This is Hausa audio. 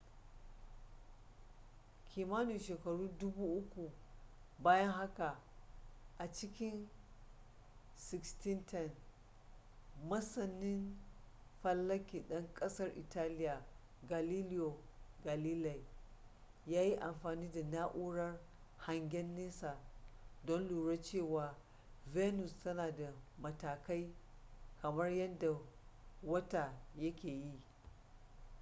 kimanin shekaru dubu uku bayan haka a cikin 1610 masanin falaki ɗan ƙasar italiya galileo galilei ya yi amfani da na'urar hangen nesa don lura cewa venus tana da matakai kamar yadda wata yake yi